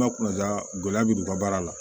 gɛlɛya bɛ don u ka baara la